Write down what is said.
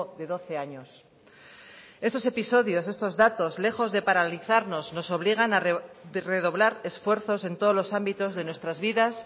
de doce años estos episodios estos datos lejos de paralizarnos nos obligan a redoblar esfuerzos en todos los ámbitos de nuestras vidas